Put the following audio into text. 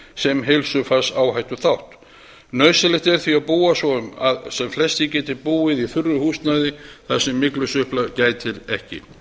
sem heilsufarsáhættuþátt nauðsynlegt er því að búa svo um að sem flestir geti búið í þurru húsnæði þar sem myglusveppa gætir ekki